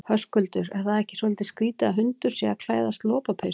Höskuldur: Er það ekki svolítið skrítið að hundur sé að klæðast lopapeysu?